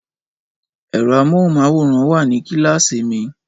Ẹ̀rọ amóhùnmáwòrán wà ní kíláàsìmi